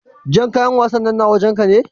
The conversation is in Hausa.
Jan ƙayan wassana na wajen ka?